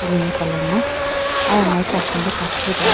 green colour na aya amariku asimbo kachi bi deho.